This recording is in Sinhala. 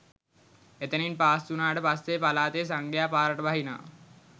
එතනින් පාස් වුණාට පස්සේ පළාතෙ සංඝයා පාරට බහිනවා